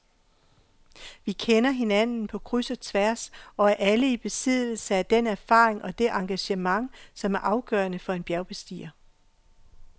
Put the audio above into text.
Vi kender hinanden på kryds og tværs og er alle i besiddelse af den erfaring og det engagement, som er afgørende for en bjergbestiger.